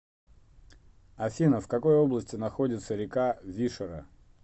афина в какой области находится река вишера